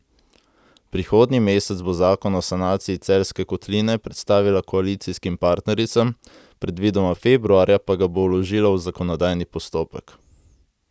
Prihodnji mesec bo zakon o sanaciji Celjske kotline predstavila koalicijskim partnericam, predvidoma februarja pa ga bo vložila v zakonodajni postopek.